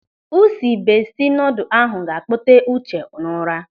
Usi bestie noodle ahụ ga-akpote Uche n'ụra.